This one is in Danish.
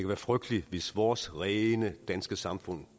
være frygteligt hvis vores rene danske samfund